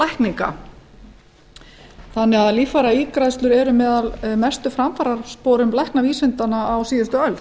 ígræðslulækninga þannig að líffæraígræðslur eru með mestu framfarasporum læknavísindanna á síðustu öld